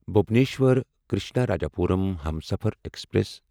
Bhubaneswar Krishnarajapuram Humsafar express